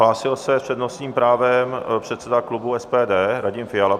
Hlásil se s přednostním právem předseda klubu SPD Radim Fiala.